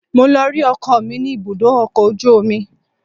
Mo lọ rí ọkọ mi ní ibùdó ọkọ̀ ojú omi